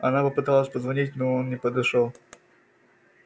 она попыталась позвонить но он не подошёл